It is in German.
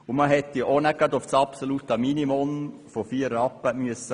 Man hätte auch nicht auf das absolute Minimum von vier Rappen hinuntergehen müssen.